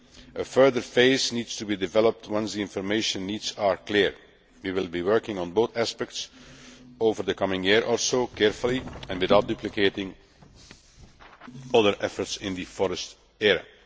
A further phase needs to be developed once the information needs are clear. We will be working on both aspects over the coming year, carefully and without duplicating other efforts in the forest area.